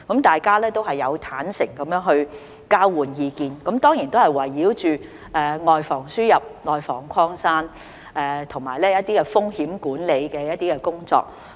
大家都有坦誠地交換意見，當然都是圍繞着"外防輸入、內防擴散"，以及一些風險管理的工作。